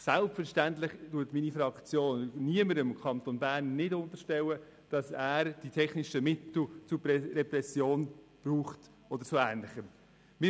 Selbstverständlich unterstellt meine Fraktion niemanden im Kanton Bern, dass er die technischen Mittel zur Repression oder zu ähnlichem nutzt.